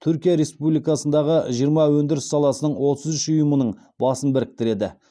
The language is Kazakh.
түркия республикасындағы жиырма өндіріс саласының отыз үш ұйымының басын біріктіреді